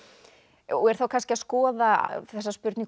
og er þá kannski að skoða þessa spurningu úr